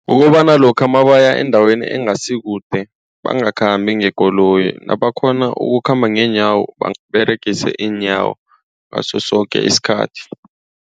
Kukobana lokha nabaya endaweni engasi kude bangakhambi ngekoloyi. Nabakghona ukukhamba ngeenyawo baberegise iinyawo ngaso soke isikhathi.